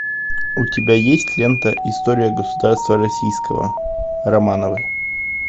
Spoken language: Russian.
у тебя есть лента история государства российского романовы